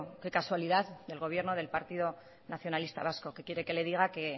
qué casualidad del gobierno del partido nacionalista vasco qué quiere que le diga que